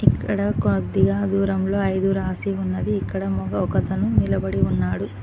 ఇక్కడ కొద్దిగా దూరంలో ఐదు రాసి ఉన్నది ఇక్కడ మొగ ఒక అతను నిలబడి ఉన్నాడు.